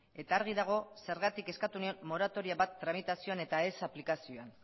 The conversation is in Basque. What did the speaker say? eta argi dago zergatik eskatu nion moratoria bat tramitazioan eta ez aplikazioan